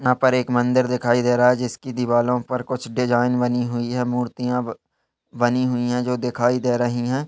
यहाँ पर एक मंदिर दिखाई दे रहा है जिसकी दिवालॊ पर कुछ डिजाइन बनी हुई है मूर्तियां बनी हुई है जो दिखाई दे रही हैं।